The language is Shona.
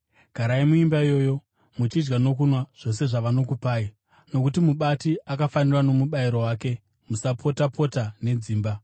Garai muimba iyoyo muchidya nokunwa zvose zvavanokupai nokuti mubati akafanirwa nomubayiro wake. Musapota-pota nedzimba.